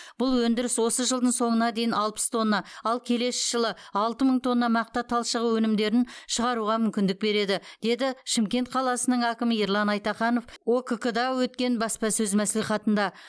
бұл өндіріс осы жылдың соңына дейін алпыс тонна ал келесі жылы алты мың тонна мақта талшығы өнімдерін шығаруға мүмкіндік береді деді шымкент қаласының әкімі ерлан айтаханов оқк да өткен баспасөз мәслихатында